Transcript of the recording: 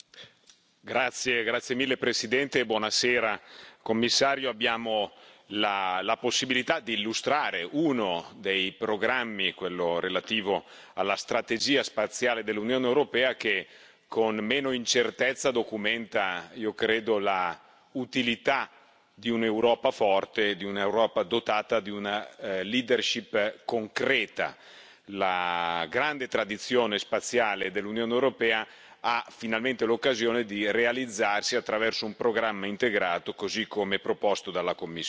Signor Presidente, onorevoli colleghi, signor Commissario, abbiamo la possibilità di illustrare uno dei programmi, quello relativo alla strategia spaziale dell'Unione europea, che con meno incertezza documenta, io credo, l'utilità di un'Europa forte, di un'Europa dotata di una concreta. La grande tradizione spaziale dell'Unione europea ha finalmente l'occasione di realizzarsi attraverso un programma integrato, così come proposto dalla Commissione.